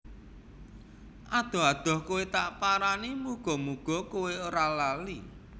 Adoh adoh kowe tak parani muga muga kowe ra lali